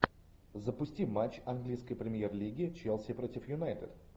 запусти матч английской премьер лиги челси против юнайтед